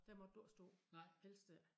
Der måtte du ikke stå helst ikke